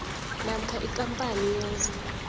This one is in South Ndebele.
namkha ikampani yenza